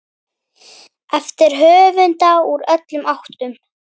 eftir höfunda úr öllum áttum.